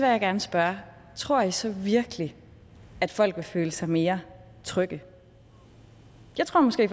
jeg gerne spørge tror i så virkelig at folk vil føle sig mere trygge jeg tror måske